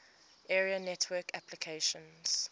area network applications